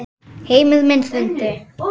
Heimur minn hrundi.